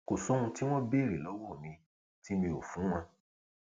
kò sóhun tí wọn béèrè lọwọ mi tí mi ò fún wọn